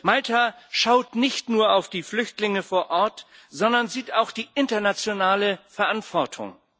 Malta schaut nicht nur auf die Flüchtlinge vor Ort, sondern sieht auch die internationale Verantwortung.